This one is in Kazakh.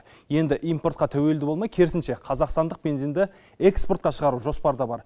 енді импортқа тәуелді болмай керісінше қазақстандық бензинді экспортқа шығару жоспарда бар